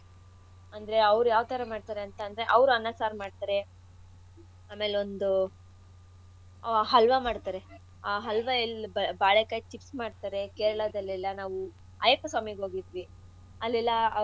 ಅಡ್ಗೆಗಳು ಅಂದ್ರೆ ಅವ್ರು ಯಾವ್ತರ ಮಾಡ್ತರೆ ಅಂತಂದ್ರೆ ಅವ್ರು ಅನ್ನ ಸಾರ್ ಮಾಡ್ತರೆ ಆಮೇಲೆ ಒಂದು ಹಲ್ವಾ ಮಾಡ್ತರೆ ಆ ಹಲ್ವಾ ಒಂದ್ ಬಾಳೆಕಾಯಿ chips ಮಾಡ್ತಾರೆ ಕೇರಳಾದಲ್ಲೆಲ್ಲಾ ನಾವೂ ಅಯ್ಯಪ್ಪ ಸ್ವಾಮಿಗ್ ಹೋಗಿದ್ವಿ ಅಲ್ಲೆಲ್ಲಾ ಅವ್ರ್~ ಅವ್ರ.